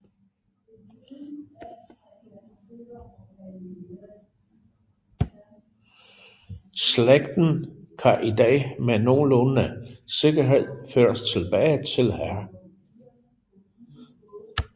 Slægten kan i dag med nogenlunde sikkerhed føres tilbage til Hr